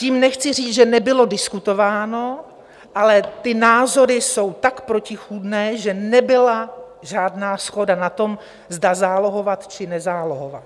Tím nechci říct, že nebylo diskutováno, ale ty názory jsou tak protichůdné, že nebyla žádná shoda na tom, zda zálohovat, či nezálohovat.